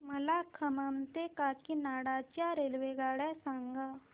मला खम्मम ते काकीनाडा च्या रेल्वेगाड्या सांगा